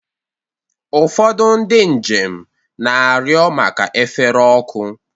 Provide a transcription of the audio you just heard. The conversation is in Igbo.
Ụfọdụ ndị njem na-arịọ maka efere ọkụ.